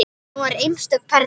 Hún var einstök perla.